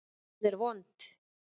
Hún er vond.